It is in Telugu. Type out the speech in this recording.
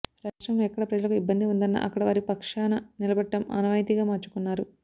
రాష్ట్రంలో ఎక్కడ ప్రజలకు ఇబ్బంది ఉందన్నా అక్కడ వారి పక్షాన నిలబడటం ఆనవాయితిగా మార్చుకున్నారు